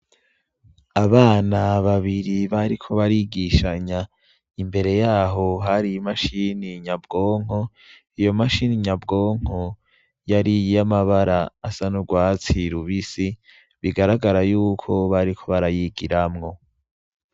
Abana babiri babonek' imitwe gusa bariko barigishanya, barabirahamwe muri mudasobwa, ni gatoya gasa n' icatsi kibisi, inyuma karera hasi habonek' isim' ishaje, hari n' umuco mukeya.